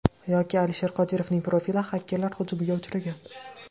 Yoki Alisher Qodirovning profili xakerlar hujumiga uchragan.